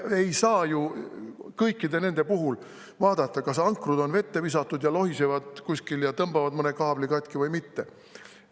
Me ei saa ju kõikide nende puhul vaadata, kas ankrud on vette visatud, kas need lohisevad kuskil ja tõmbavad mõne kaabli katki või mitte.